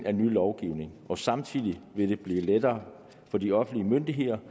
af ny lovgivning og samtidig vil det blive lettere for de offentlige myndigheder